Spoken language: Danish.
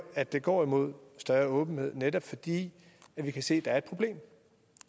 at det går imod større åbenhed netop fordi vi kan se at der er et problem